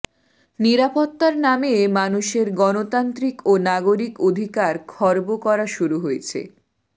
নিরাপত্তার নামে মানুষের গণতান্ত্রিক ও নাগরিক অধিকার খর্ব করা শুরু হয়েছে